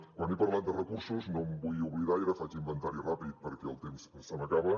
quan he parlat de recursos no em vull oblidar i ara faig inventari ràpid perquè el temps se m’acaba